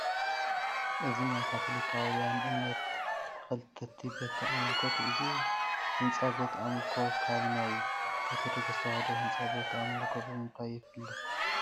እዚ ናይ ካቶሊካውያን እምነት ተኸተልቲ ቤተ ኣምልኮ እዩ፡፡ እዚ ህንፃ ቤተ ኣምልኮ ካብ ናይ ኦርቶዶክስ ተዋህዶ ህንፃ ቤተ ኣምልኮ ብምንታይ ይፍለ?